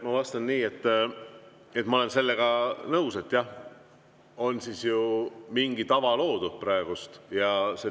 Ma vastan nii, et ma olen sellega nõus, jah, et praegu on loodud mingi tava.